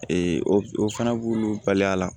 o fana b'olu bali a la